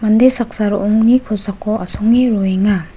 mande saksa ro·ongni kosako asonge roenga.